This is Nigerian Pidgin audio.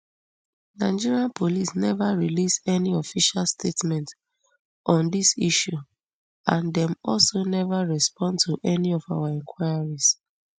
nigerian police neva release any official statement on dis issue and dem also never respond to any of our enquiries